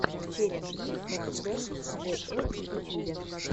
челлендж би эф версус джи эф в ютьюбе